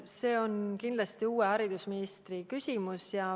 See on kindlasti uue haridusministri küsimus.